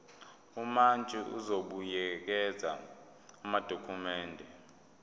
umantshi uzobuyekeza amadokhumende